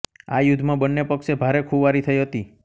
આ યુદ્ધમાં બંને પક્ષે ભારે ખુવારી થઇ હતી